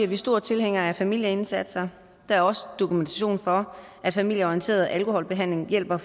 vi store tilhængere af familieindsatser der er også dokumentation for at familieorienteret alkoholbehandling hjælper